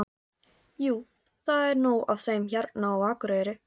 Jú, það er nóg af þeim hérna á Akureyri.